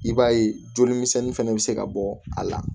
I b'a ye joli misɛnnin fɛnɛ be se ka bɔ a la